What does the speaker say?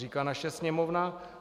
Říká naše Sněmovna.